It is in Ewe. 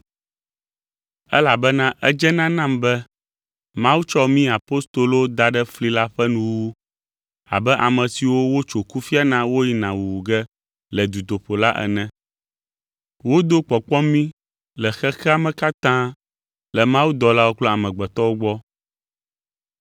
Elabena edzena nam be Mawu tsɔ mí apostolowo da ɖe fli la ƒe nuwuwu abe ame siwo wotso kufia na woyina wuwu ge le dutoƒo la ene. Wodo kpɔkpɔ mí le xexea me katã le mawudɔlawo kple amegbetɔwo gbɔ.